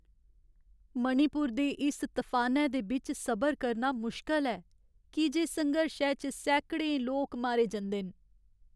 मणिपुर दे इस तफानै दे बिच्च सबर करना मुश्कल ऐ, की जे संघर्शै च सैकड़ें लोक मारे जंदे न।